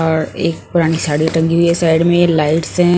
और एक पुरानी साड़ी टंगी हुई हैं साइड में लाइट्स हैं ।